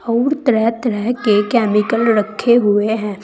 अऊर तरह तरह के केमिकल रखे हुए हैं।